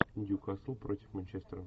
нью касл против манчестера